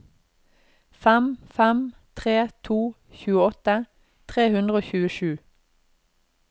fem fem tre to tjueåtte tre hundre og tjuesju